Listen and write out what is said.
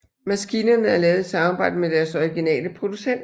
Maskinerne er lavet i samarbejde med deres originale producenter